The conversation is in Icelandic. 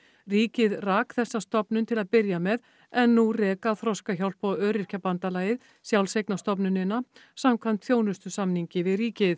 ríkið rak þessa stofnun til að byrja með en nú reka Þroskahjálp og Öryrkjabandalagið sjálfseignarstofnunina samkvæmt þjónustusamningi við ríkið